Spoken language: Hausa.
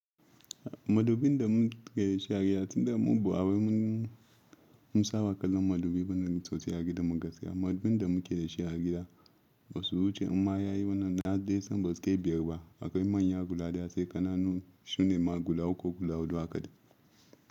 Madubin da muke da shi a gida tunda mubu, ba wai mun saba kallon madubi wannan sosai a gidan mu gaskiya. Madubin da muke da shi a gida ba su wuce in ma yayi wannan yadda yasan ba suke biyar ba, akwai manyan guda ɗaya sai ƙananu sune ma guda uku ko guda huɗu.